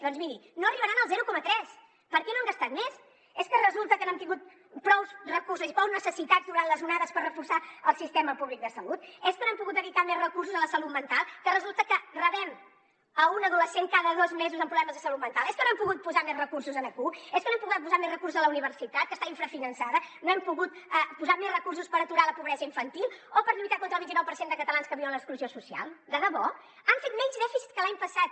doncs miri no arribaran al zero coma tres per què no han gastat més és que resulta que no han tingut prous recursos prous necessitats durant les onades per reforçar el sistema públic de salut és que no han pogut dedicar més recursos a la salut mental que resulta que rebem un adolescent cada dos mesos amb problemes de salut mental és que no han pogut posar més recursos aquí és que no han pogut posar més recursos a la universitat que està infrafinançada no hem pogut posar més recursos per aturar la pobresa infantil o per lluitar contra el vint i nou per cent de catalans que viuen en l’exclusió social de debò han fet menys dèficit que l’any passat